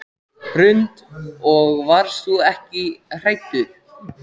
Hrund: Og varst þú ekkert hræddur?